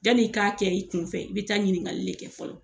Jani i k'a kɛ i kun fɛ i bi taa ɲininkali le kɛ fɔlɔ